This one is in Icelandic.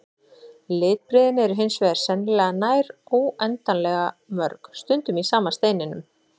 Litbrigðin eru hins vegar sennilega nær óendanlega mörg, stundum í sama steininum.